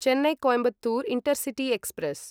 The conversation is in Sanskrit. Chennai Coimbatore intercity express